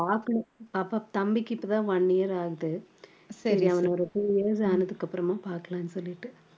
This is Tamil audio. பாக்கணும் பாப்பா~ தம்பிக்கு இப்போ தான் one year ஆகுது சரி அவனுக்கு ஒரு two years ஆனதுக்கு அப்புறமா பாக்கலாம்னு சொல்லிட்டு